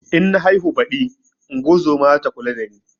In na haihu baɗi ingozuma zata kula da ni